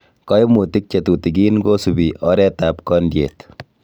Koimutik chetutikin kosibi oretab kondiet.